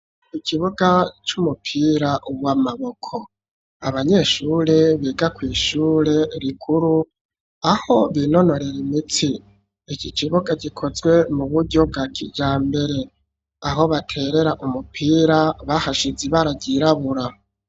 Ikibuga, c'umupira w'amaboko; abanyeshure, biga kw'ishure rikuru, aho binonorera imitsi, iki kibuga, gikozwe mu buryo, bwa kijambere; aho baterera umupira, bahashize ibara, ryirabura.